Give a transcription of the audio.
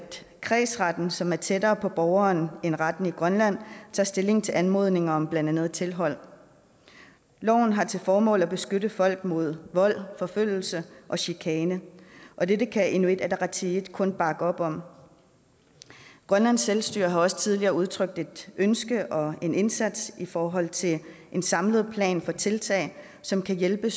kredsretten som er tættere på borgeren end retten i grønland tager stilling til anmodninger om blandt andet tilhold loven har til formål at beskytte folk mod vold forfølgelse og chikane og dette kan inuit ataqatigiit kun bakke op om grønlands selvstyre har også tidligere udtrykt et ønske om en indsats i forhold til en samlet plan for tiltag som kan hjælpe